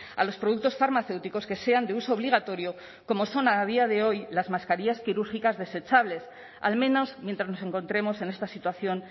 a los productos farmacéuticos que sean de uso obligatorio como son a día de hoy las mascarillas quirúrgicas desechables al menos mientras nos encontremos en esta situación